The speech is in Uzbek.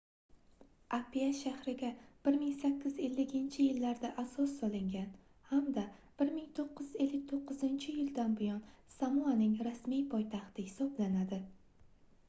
apia shahriga 1850-yillarda asos solingan hamda 1959-yildan buyon samoaning rasmiy poytaxti hisoblanadi